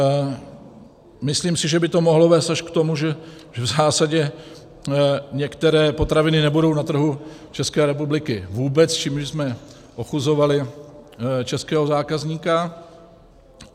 Myslím si, že by to mohlo vést až k tomu, že v zásadě některé potraviny nebudou na trhu České republiky vůbec, čímž bychom ochuzovali českého zákazníka.